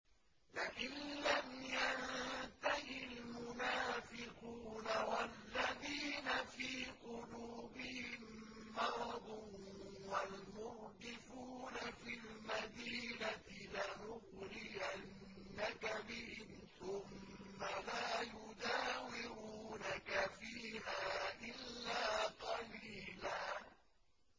۞ لَّئِن لَّمْ يَنتَهِ الْمُنَافِقُونَ وَالَّذِينَ فِي قُلُوبِهِم مَّرَضٌ وَالْمُرْجِفُونَ فِي الْمَدِينَةِ لَنُغْرِيَنَّكَ بِهِمْ ثُمَّ لَا يُجَاوِرُونَكَ فِيهَا إِلَّا قَلِيلًا